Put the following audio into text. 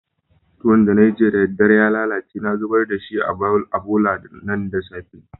Tuwon da na yi jiya da dare ya lallace na zubar da shi a bolla da safe'n nan.